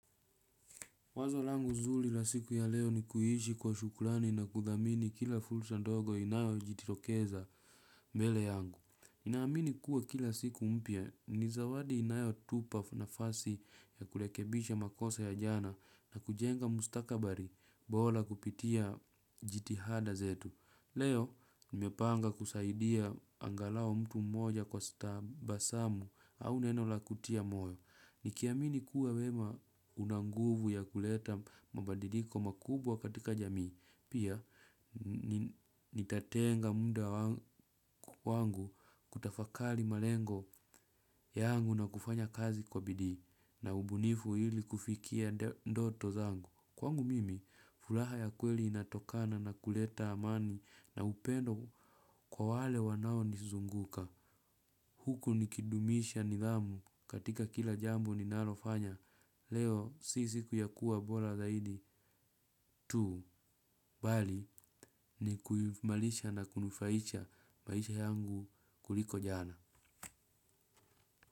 Wazo langu zuri la siku ya leo ni kuishi kwa shukurani na kuthamini kila fursa ndogo inayojitokeza mbele yangu. Ninaamini kuwa kila siku mpya, ni zawadi inayotupa nafasi ya kurekebisha makosa ya jana na kujenga mustakabali bora kupitia jitihada zetu. Leo, nimepanga kusaidia angalau mtu mmoja kwa tabasamu au neno la kutia moyo. Nikiamini kuwa wema una nguvu ya kuleta mabadiliko makubwa katika jamii. Pia, nitatenga muda wangu kutafakari malengo yangu na kufanya kazi kwa bidii. Na ubunifu ili kufikia ndoto zangu. Kwangu mimi, furaha ya kweli inatokana na kuleta amani na upendo kwa wale wanaonizunguka. Huku nikidumisha nidhamu katika kila jambo linalofanya leo sisi kuyakuwa bora zaidi tu bali ni kuimarisha na kunufaisha maisha yangu kuliko jana.